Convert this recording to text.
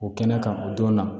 O kɛnɛ kan o don na